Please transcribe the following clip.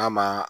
N'a ma